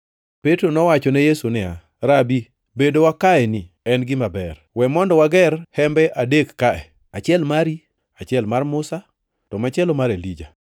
Petro nowachone Yesu niya, “Rabi, bedowa kaeni en gima ber. We mondo wager hembe adek kae; achiel mari, achiel mar Musa, to machielo mar Elija.”